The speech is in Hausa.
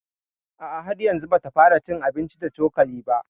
A a, har yanzu bata fara cin abinci da cokali ba